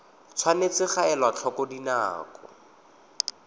tshwanetse ga elwa tlhoko dinako